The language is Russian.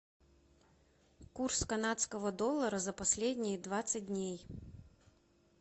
курс канадского доллара за последние двадцать дней